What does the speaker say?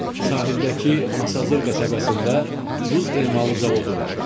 Sahildəki Masazır qəsəbəsində duz emalı zavodu var.